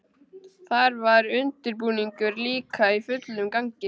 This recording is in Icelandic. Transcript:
Þar var undirbúningur líka í fullum gangi.